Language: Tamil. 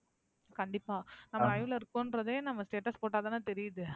கண்டிப்பா நம்ம live ல இருக்கோம்றதே நம்ம status போட்டாத்தானே தெரியுது.